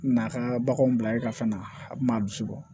Na ka baganw bila e ka fɛn na a kun b'a bisi bɔ